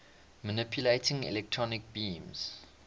manipulating electron beams